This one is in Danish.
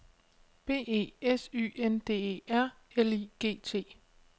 B E S Y N D E R L I G T